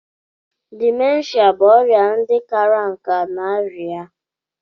Dimenshia bụ ọrịa ndị kara nká na'aria.